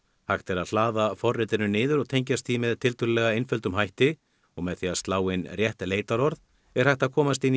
hægt er að hlaða forritinu niður og tengjast því með tiltölulega einföldum hætti og með því að slá inn rétt leitarorð er hægt að komast inn